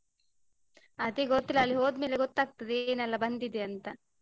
ಅದೇ ಗೊತ್ತಿಲ್ಲ ಅಲ್ಲಿ ಹೋದ್ಮೇಲೆ ಗೊತ್ತಾಗ್ತಾದೆ ಏನ್ ಎಲ್ಲ ಬಂದಿದೆ ಅಂತ.